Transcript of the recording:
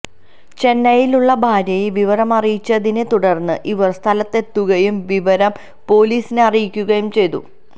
ചെന്നൈയിലുള്ള ഭാര്യയെ വിവരം അറിയിച്ചതിനെ തുടര്ന്ന് ഇവര് സ്ഥലത്തെത്തുകയും വിവരം പോലീസിനെ അറിയിക്കുകയും ചെയ്തു